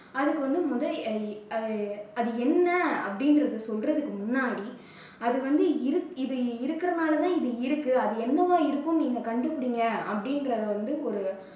அதுக்கு வந்து முதல் அது என்ன அப்படிங்கிறதை சொல்றதுக்கு முன்னாடி அது வந்து இருக்~ இது இருக்கிறது மாதிரிதான்` இது இருக்கு அது என்னவா இருக்கும்னு நீங்க கண்டுபிடிங்க அப்படீன்றத வந்து ஒரு